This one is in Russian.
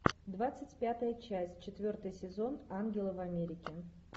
двадцать пятая часть четвертый сезон ангелы в америке